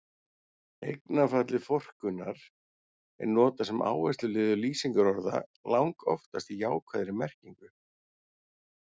Eignarfallið forkunnar- er notað sem áhersluliður lýsingarorða, langoftast í jákvæðri merkingu.